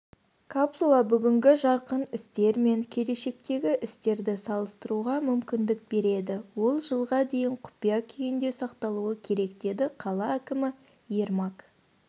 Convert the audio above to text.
капсула бүгінгі жарқын істер мен келешектегі істерді салыстыруға мүмкіндік береді ол жылға дейін құпия күйінде сақталуы керек деді қала әкімі ермак